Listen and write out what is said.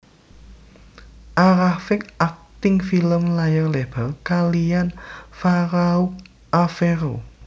A rafiq akting film layar lebar kaliyan Farouk Afero